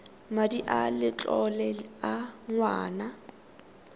madi a letlole a ngwana